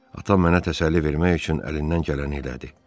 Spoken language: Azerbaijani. Atam mənə təsəlli vermək üçün əlindən gələni elədi.